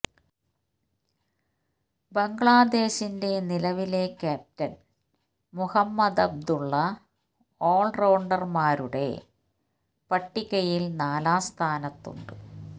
ബംഗ്ലാദേശിന്റെ നിലവിലെ captain Mahmudullah all റൌണ്ടർമാരുടെ പട്ടികയിൽ നാലാം സ്ഥാനത്തുണ്ട്